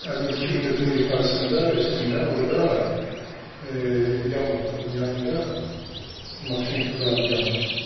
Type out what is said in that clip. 50-ci kilometrin yuxarısında, üstündə, orda yama var, onun yanında maşın duran yama.